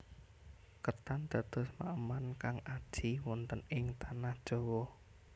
Ketan dados maeman kang aji wonten ing tanah Jawa